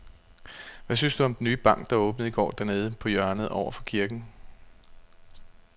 Hvad synes du om den nye bank, der åbnede i går dernede på hjørnet over for kirken?